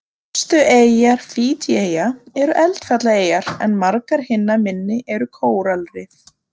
Stærstu eyjar Fídjieyja eru eldfjallaeyjar en margar hinna minni eru kóralrif.